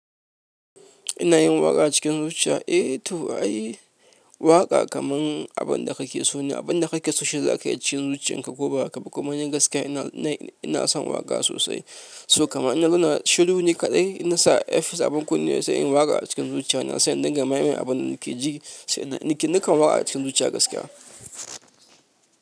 Inayin waƙa a cikin zuciya? Eh to ai waƙa kaman abinda kakeso ne, abinda kake so shi zakayi a cikin zuciyan ka koba hakaba? Kuma ni gaskiya ni ina ina son waƙa sosai. So kamar inna zauna shiru ni kaɗai, inna sa air peace abin kunne, sai inyi waƙa cikin zuciyana. Ina sai indinga ma'meen abin da nake ji, nakan waƙa acikin zuciya gaskiya.